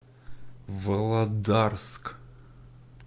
володарск